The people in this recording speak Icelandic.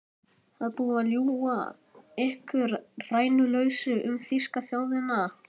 Það er búið að ljúga ykkur rænulausa um þýsku þjóðina.